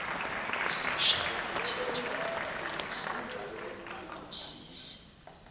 kusishayamthetho ngokungeseka nangosizo